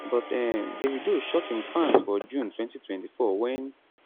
but um davido shock im fans for june 2024 wen